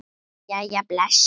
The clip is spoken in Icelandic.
Jæja bless